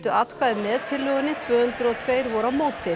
atkvæði með tillögunni tvö hundruð og tveir voru á móti